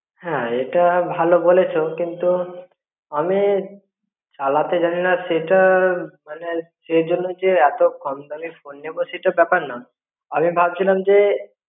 হ্যাঁ, এটা ভালো বলেছো কিন্তু আমি চালাতে জানিনা সেটা মনে সে জনও যে কম দামি ফোন নেব সেটা ব্যপার না আমি ভাবছিলাম জে